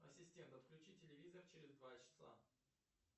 ассистент отключи телевизор через два часа